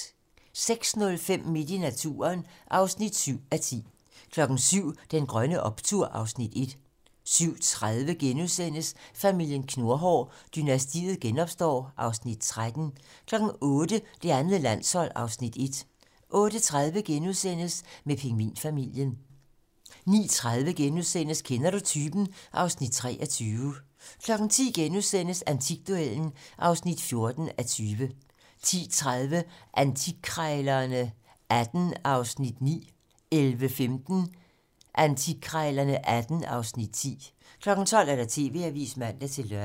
06:05: Midt i naturen (7:10) 07:00: Den grønne optur (Afs. 1) 07:30: Familien Knurhår: Dynastiet genopstår (Afs. 13)* 08:00: Det andet landshold (Afs. 1) 08:30: Mød pingvinfamilien * 09:30: Kender du typen? (Afs. 23)* 10:00: Antikduellen (14:20)* 10:30: Antikkrejlerne XVIII (Afs. 9) 11:15: Antikkrejlerne XVIII (Afs. 10) 12:00: TV-Avisen (man-lør)